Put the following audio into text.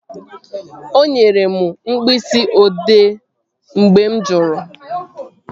O nyere m mkpịsị odee ahụ mgbe mụ jụrụ